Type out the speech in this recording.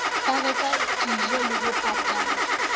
ba reke dijole ho patalla